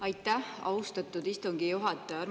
Aitäh, austatud istungi juhataja!